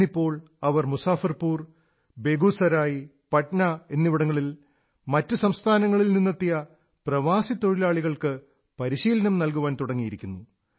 ഇന്നിപ്പോൾ അവർ മുസഫർപൂർ ബേഗുസരായ് പട്ന എന്നിവിടങ്ങളിൽ മറ്റു സംസ്ഥാനങ്ങളിൽ നിന്നെത്തിയ പ്രവാസി തൊഴിലാളികൾക്ക് പരിശീലനം നല്കാൻ ആരംഭിച്ചിരിക്കുന്നു